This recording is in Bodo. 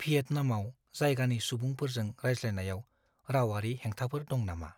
भियेटनामाव जायगानि सुबुंफोरजों रायज्लायनायाव रावारि हेंथाफोर दं नामा?